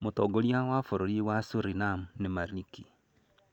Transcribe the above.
Mũtongoria wa bũrũri wa Suriname nĩ Maliki.